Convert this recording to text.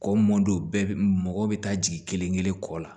Kɔ mɔdon bɛɛ bɛ mɔgɔ bɛ taa jigin kelen kelen kɔ la